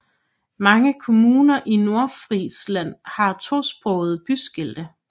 Mange kommuner i Nordfrisland har tosprogede byskilte